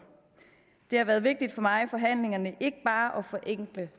det har været vigtigt for mig i forhandlingerne ikke bare at forenkle